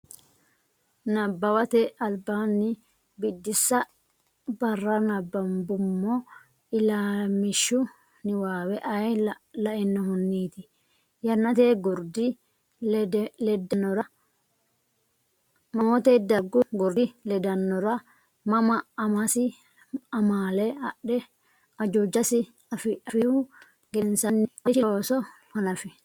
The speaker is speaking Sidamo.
Nabbawate Albaanni Biddissa barra nabbambummo ilamishshu niwaawe ayee lainohunniiti? Yannate gurdi ledaanora mamoote? Dargu gurdi ledaanora mama? Amasi amaale adhe ajuujasi afihu gedensaanni marichi looso hanafi?